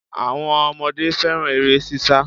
Àwọn ọmọdé fẹ́ràn eré ṣíṣá